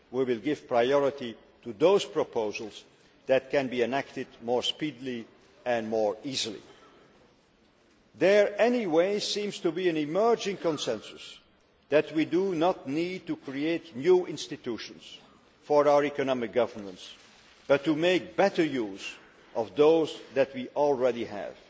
We will give priority to those proposals that can be enacted more speedily and more easily. Anyway, there seems to be an emerging consensus that we do not need to create new institutions for our economic governance but to make better use of those that we already have.